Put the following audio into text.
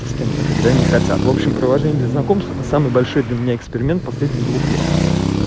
с кем-то когда они хотят в общем приложение для знакомства это самый большой для меня эксперимент последних двух лет